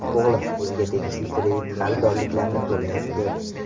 O‘g‘lim o‘ziga tegishli kredit qarzdorliklarni to‘layapti.